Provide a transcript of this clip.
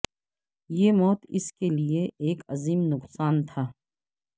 یہ موت اس کے لیے ایک عظیم نقصان تھا